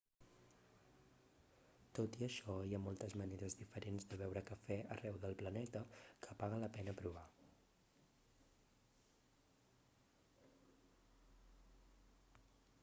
tot i això hi ha moltes maneres diferents de beure cafè arreu del planeta que paga la pena provar